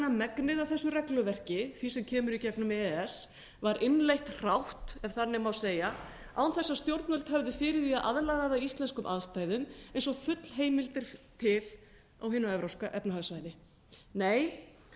megnið af þessu regluverki því sem kemur í gegnum e e s var innleitt hrátt ef þannig má segja án þess að stjórnvöld hefðu fyrir því að aðlaga þær íslenskum aðstæðum eins og full heimild er til á hinu evrópska efnahagssvæði nei